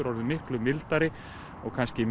orðinn miklu mildari og kannski